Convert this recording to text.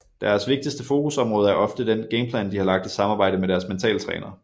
Deres vigtigste fokusområde er ofte den gameplan de har lagt i samarbejde med deres mental træner